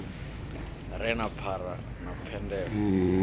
re na phara na phendelo